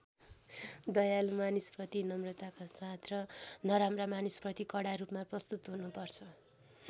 दयालु मानिसप्रति नम्रताका साथ र नराम्रा मानिसप्रति कडा रूपमा प्रस्तुत हुनुपर्छ।